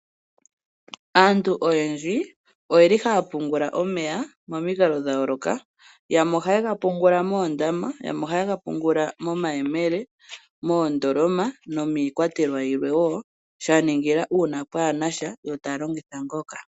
Aantu oyendji oye li haya pungula omeya pamikalo dhayooloka, yamwe oha ye ga pungula moondama, yamwe oha ye ga pungula momayemele, moondoloma nomiikwatelwa yilwe woo, shaningila uuna pwaana sha yo ta ya longitha ngoka.